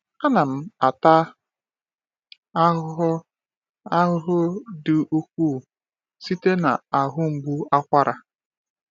A na m ata ahụhụ ahụhụ dị ukwuu site n’ahụ mgbu akwara.